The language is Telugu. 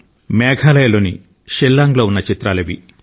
షిల్లాంగ్ లో ఉన్న మేఘాలయలోని చిత్రాలివి